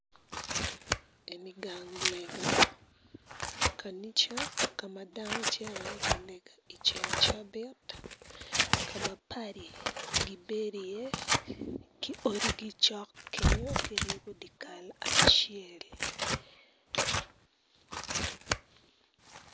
Eni gang lega kanica ka ma dano gicito ka lega i ceng cabit kama padi gibedo iye kacel.